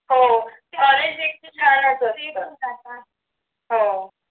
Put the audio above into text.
हो कॉलेज एक शाळा असल